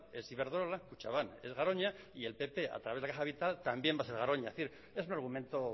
es iberdrola kutxabank es garoña y el pp a través de la caja vital también va a ser garoña es decir es un argumento